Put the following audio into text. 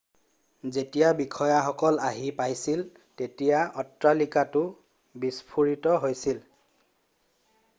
যেতিয়া বিষয়াসকল আহি পাইছিল তেতিয়া অট্টালিকাটো বিস্ফোৰিত হৈছিল